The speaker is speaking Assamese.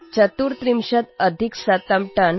१३४टनपरिमितस्य लौहस्य गलनं कृतम्